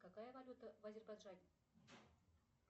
какая валюта в азербайджане